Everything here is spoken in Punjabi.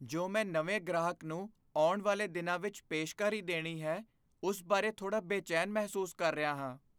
ਜੋ ਮੈਂ ਨਵੇਂ ਗ੍ਰਾਹਕ ਨੂੰ ਆਉਣ ਵਾਲੇ ਦਿਨਾਂ ਵਿੱਚ ਪੇਸ਼ਕਾਰੀ ਦੇਣੀ ਹੈ ਉਸ ਬਾਰੇ ਥੋੜਾ ਬੇਚੈਨ ਮਹਿਸੂਸ ਕਰ ਰਿਹਾ ਹਾਂ।